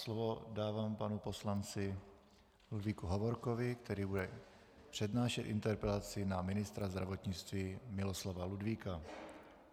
Slovo dávám panu poslanci Ludvíku Hovorkovi, který bude přednášet interpelaci na ministra zdravotnictví Miloslava Ludvíka.